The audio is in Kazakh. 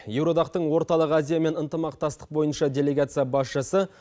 еуроодақтың орталық азиямен ынтымақтастық бойынша делегация басшысы